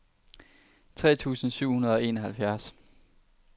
tre tusind syv hundrede og enoghalvfjerds